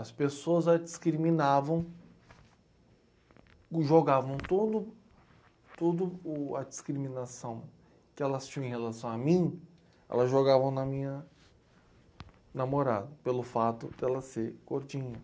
As pessoas a discriminavam, jogavam tudo, toda o, a discriminação que elas tinham em relação a mim, elas jogavam na minha namorada, pelo fato de ela ser gordinha.